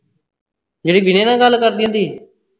ਜਿਹੜੀ ਵਿਨੈ ਨਾਲ ਗੱਲ ਕਰਦੀ ਹੁੰਦੀ ਸੀ